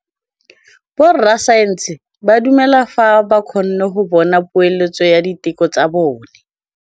Borra saense ba dumela fela fa ba kgonne go bona poeletsô ya diteko tsa bone.